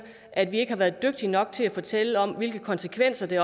at vi ikke har været dygtige nok til at fortælle om hvilke konsekvenser det